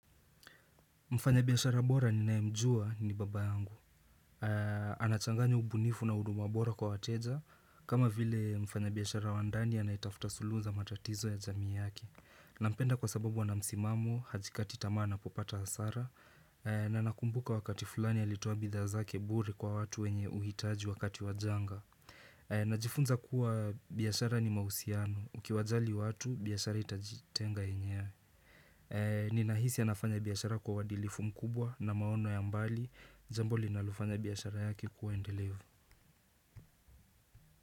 Mfanya biashara bora ninayemjua ni baba yangu. Anachanganya ubunifu na uduma bora kwa wateja, kama vile mfanya biashara wandani anayetafuta suluhu za matatizo ya jamii yake. Na mpenda kwa sababu ana msimamo, hajikati tamaa anapopata hasara, na nakumbuka wakati fulani ya alitoa bidhaa zake bure kwa watu wenye uhitaji wakati wajanga. Najifunza kuwa biashara ni mahusiano. Ukiwajali watu, biashara itajitenga yenyewe. Ninahisi anafanya biashara kwa uadilifu mkubwa na maono ya mbali jambo linalofanya biashara yake kuwa endelevu.